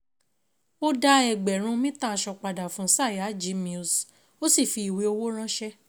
Ó dá ẹgbẹ̀rún mítà aṣọ padà fún Sayaji Mills, ó sì fi ìwé owó ránṣẹ́.